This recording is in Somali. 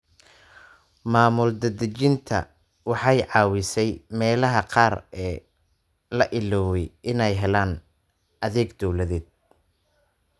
Maamul daadejinta waxay caawisay meelaha qaar ee la ilaaway inay helaan adeeg dawladeed.